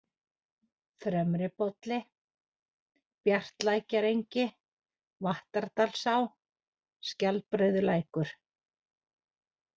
Fremribolli, Bjartalækjarengi, Vattardalsá, Skjaldbreiðarlækur